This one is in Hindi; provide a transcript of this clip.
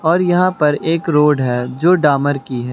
और यहां पर एक रोड है जो डामर की है।